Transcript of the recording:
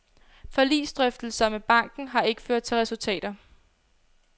Forligsdrøftelser med banken har ikke ført til resultater.